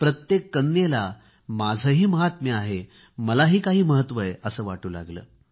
प्रत्येक कन्येला माझेही महात्म्य आहे मलाही काही महत्व आहे असे वाटू लागले